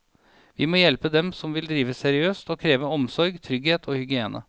Vi må hjelpe dem som vil drive seriøst, og kreve omsorg, trygghet og hygiene.